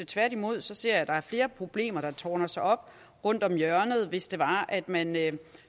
tværtimod ser jeg at der er flere problemer der ville tårne sig op rundt om hjørnet hvis det var at man